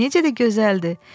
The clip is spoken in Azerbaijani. Necə də gözəldir.